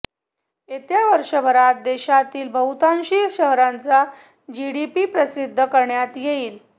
येत्या वर्षभरात देशातील बहुतांशी शहरांचा जीडीपी प्रसिद्ध् करण्यात येईल